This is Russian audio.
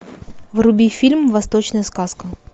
вруби фильм восточная сказка